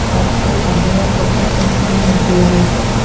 মঠটোৰ বাহিৰত বহুত কেইজনী মহিলা আছে।